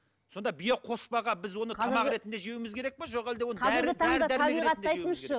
сонда биоқоспаға біз оны тамақ ретінде жеуіміз керек пе жоқ әлде оны